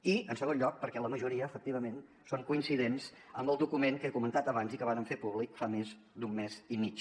i en segon lloc perquè la majoria efectivament són coincidents amb el document que he comentat abans i que vàrem fer públic fa més d’un mes i mig